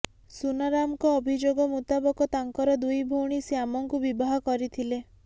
ସୁନାରାମଙ୍କ ଅଭିଯୋଗ ମୁତାବକ ତାଙ୍କର ଦୁଇ ଭଉଣୀ ଶ୍ୟାମଙ୍କୁ ବିବାହ କରିଥିଲେ